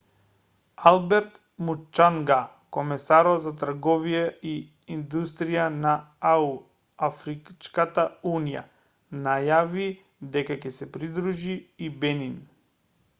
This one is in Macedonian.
алберт мучанга комесарот за трговија и индустрија на ау афричката унија најави дека ќе се придружи и бенин